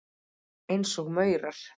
Eins og maurar.